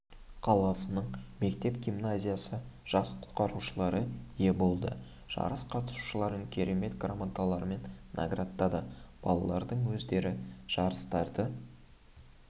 қаласының мектеп гимназиясы жас құтқарушылары ие болды жарыс қатысушыларын құрмет грамоталарымен наградтады балалардың өздері жарыстарды